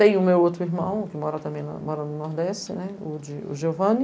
Tem o meu outro irmão, o que mora também lá no Nordeste, né, o Giovanni.